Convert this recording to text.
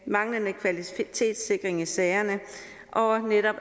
manglende kvalitetssikring i sagerne og